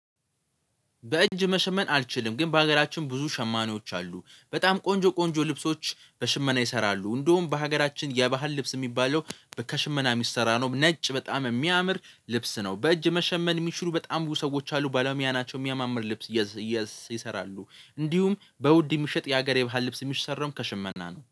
በእጅ መሸመን አልችልም ግን በሀገራችን ብዙ ሸማኔዎች አሉ በጣም ቆንጆ ቆንጆ ልብሶች በሽመና ይሰራሉ እንደውም በሀገራችን የባህል ልብስ የሚባለው ከሽመና የሚሰራ ነው። ነጭ በጣም የሚያምር ልብስ ነው። በእጅ መሸመን የሚችሉ በጣም ብዙ ሰዎች አሉ ባለሙያ ናቸው የሚያማምር ልብስ ይሰራሉ። እንዲሁም በውድ የሚሸጥ የሀገር የባህል ልብስ የሚሰራዉም ከሽመና ነው